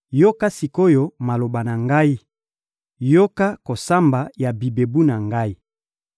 Yoka sik’oyo maloba na ngai, yoka kosamba ya bibebu na ngai.